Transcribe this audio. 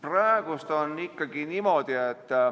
Praegu on niimoodi.